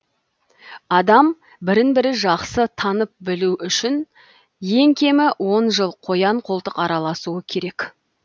адам бірін бірі жақсы танып білу үшін ең кемі он жыл қоян қолтық араласуы керек